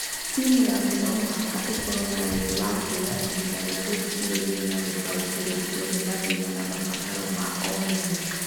Timu yaku no mũhaka ĩkorũo ĩrĩ na wendi wa kuoya ihinda rĩa gũthikĩrĩria na gũtaũkĩrũo biũ nĩ mathĩna na mabataro ma o mũndũ.